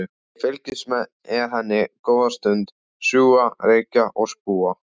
Ég fylgist með henni góða stund, sjúga reyk og spúa.